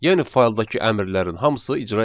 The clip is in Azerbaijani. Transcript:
Yəni fayldakı əmrlərin hamısı icra edilir.